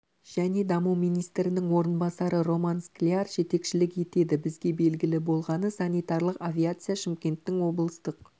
және даму министрінің орынбасары роман скляр жетекшілік етеді бізге белгілі болғаны санитарлық авиация шымкенттің облыстық